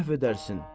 Əhv edərsin.